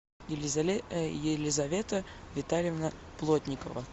елизавета витальевна плотникова